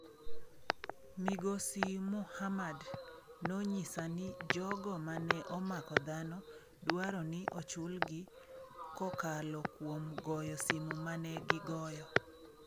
Migosi Muhammad nonyisa ni jogo mane omako dhano dwaro ni ochulgi kokalo kuom goyo simu mane gigoyo.